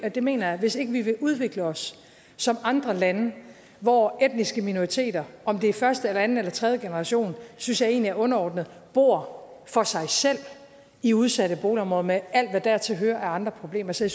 og det mener jeg hvis ikke vi vil udvikle os som andre lande hvor etniske minoriteter om det er første anden eller tredje generation synes jeg egentlig er underordnet bor for sig selv i udsatte boligområder med alt hvad dertil hører af andre problemer så